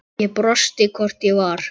Ég brosti, hvort ég var!